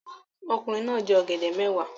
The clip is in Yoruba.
Ọkùnrin náà jẹ ọ̀gẹ̀dẹ̀ mẹ́wàá